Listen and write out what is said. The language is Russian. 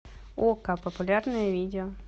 окко популярные видео